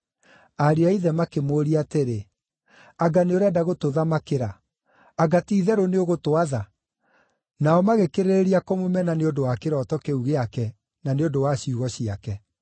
Ariũ a ithe makĩmũũria atĩrĩ, “Anga nĩũrenda gũtũthamakĩra? Anga ti-itherũ nĩũgatwatha?” Nao magĩkĩrĩrĩria kũmũmena nĩ ũndũ wa kĩroto kĩu gĩake, na nĩ ũndũ wa ciugo ciake.